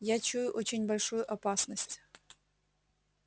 я чую очень большую опасность